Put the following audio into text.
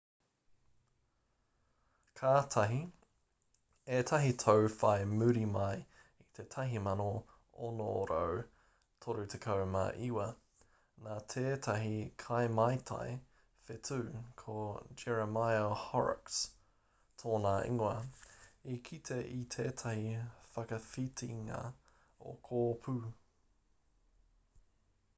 kātahi ētahi tau whai muri mai i te 1639 nā tētahi kaimātai whetū ko jeremiah horrocks tōna ingoa i kite i tētahi whakawhitinga o kōpū